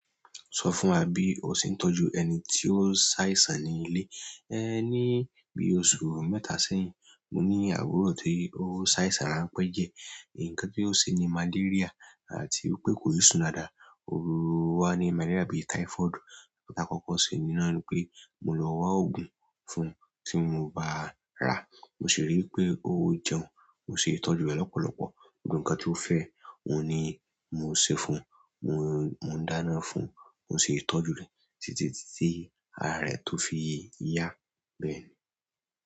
Sọ fún wa bí o ṣe ń tọ́jú ẹni tí ó ṣàìsàn ní ilé. Ní bí oṣù mẹ́ta sẹ́yìn, mo ní àbúrò tí ó ṣàìsàn ránpẹ́ diẹ. Ǹkan tí ó ṣe ni malaria àti pé kò i sún dáadáa. Ò wa ni malaria bí i táífọ́ọ̀dù. Ǹtá kọ́kọ́ ṣe ni náà ni pé mo lọ wá oògùn fún un tí mo bá rà, mo sì ríi pé ó jẹun, mo sì ń tọ́jú rẹ̀ lọ́pọ̀lọpọ̀. Gbogbo ǹkan tí ó fẹ́ oun ni mo ń ṣe fún un, mo ń dáná fún un, mo sì ń tọ́jú rẹ̀ títí tí ara rẹ̀ tó fi yá bẹ́ẹ̀ ni.